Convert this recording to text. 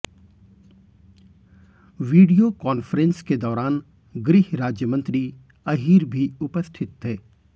video conference के दौरान गृह राज्य मंत्री अहीर भी उपस्थित थे